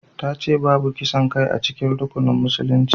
Ta ce babu kisan kai a cikin rukunan musulunci